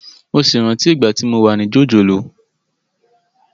Mo sì rántí ìgbà tí mo wà ní jòjòló